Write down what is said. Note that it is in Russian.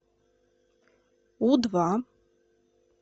у два